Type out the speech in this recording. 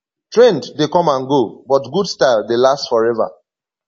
trend dey come and go but good style dey last forever